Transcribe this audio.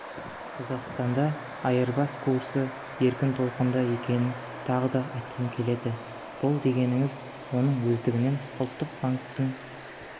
қазақстанда айырбас курсы еркін толқында екенін тағы да айтқым келеді бұл дегеніңіз оның өздігінен ұлттық банктің